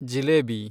jalebi